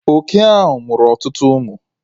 Oke ahụ mụrụ ọtụtụ ụmụ